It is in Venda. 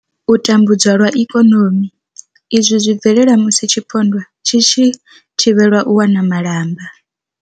U tambudzwa lwa ikonomi, Izwi zwi bvelela musi tshipondwa tshi tshi thivhelwa u wana malamba.